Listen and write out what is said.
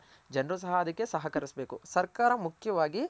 ಜನರು ಸಹ ಅದಕ್ಕೆ ಸಹಕರಿಸಬೇಕು ಸರ್ಕಾರ ಮುಖ್ಯವಾಗಿ